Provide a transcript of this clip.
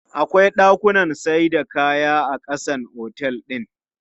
Akwai shagunnan saida kaya a ƙasan otel din.